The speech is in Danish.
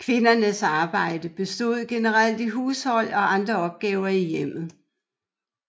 Kvindernes arbejde bestod generelt i hushold og andre opgaver i hjemmet